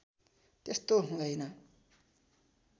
त्यस्तो हुँदैन